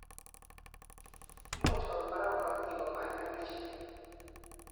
imuchi koba barak korotikkomemanach